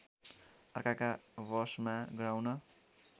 अर्काका वशमा गराउन